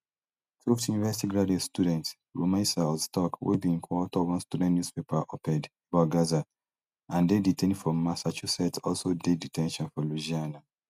tufts university graduate student rumeysa ozturk wey bin coauthor one student newspaper oped about gaza and dey detained for massachusetts also dey de ten tion for louisiana